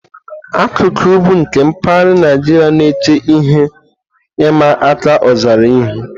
Akụkụ ugwu nke mpaghara Naijiria na-eche ihe ịma aka ọzara ihu.